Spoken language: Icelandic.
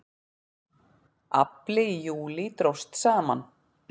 Afli í júlí dróst saman